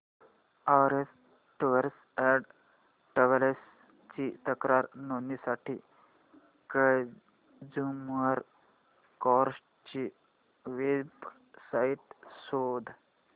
orange tours and travels ची तक्रार नोंदवण्यासाठी कंझ्युमर कोर्ट ची वेब साइट शोध